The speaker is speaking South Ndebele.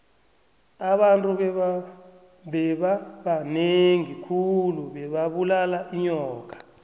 abantu bebabanengi khulu bebabulala inyoka